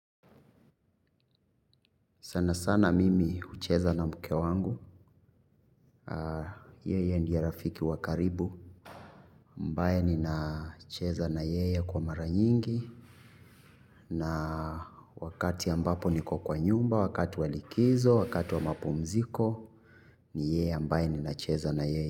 Sana sana mimi hucheza na mke wangu, yeye ndiye rafiki wakaribu, ambaye ni nacheza na yeye kwa mara nyingi, na wakati ambapo niko kwa nyumba, wakati walikizo, wakati wa mapu mziko, ni yeye ambaye ni nacheza na yeye.